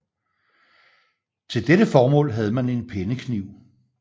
Til dette formål havde man en pennekniv